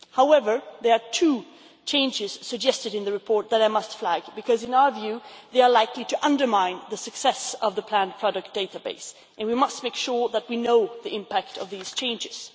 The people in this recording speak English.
However, there are two changes suggested in the report that I must flag because, in our view, they are likely to undermine the success of the planned product database and we must make sure that we know the impact of these changes.